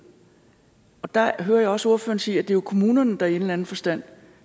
og der hører jeg også ordføreren sige at det jo er kommunerne der i en eller anden forstand